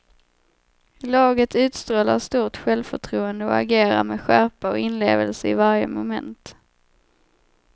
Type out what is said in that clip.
Laget utstrålar stort självförtroende och agerar med skärpa och inlevelse i varje moment.